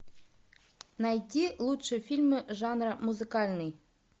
найти лучшие фильмы жанра музыкальный